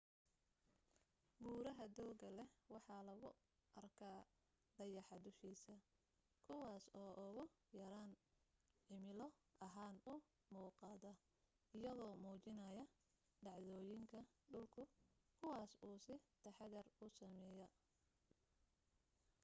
buraha dooga leh waxaa lagu arka dayaxa dushiis kuwaas oo ugu yaraan cimilo ahaan u muuqada iyagoo muujinayo dhacdoyinka dhulku kuwas uu si taxadir u sameyey